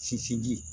Sinsin